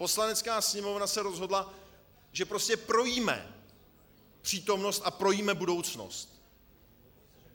Poslanecká sněmovna se rozhodla, že prostě projíme přítomnost a projíme budoucnost.